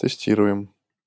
тестируем